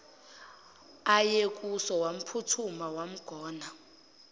ayekuso wamphuthuma wamgona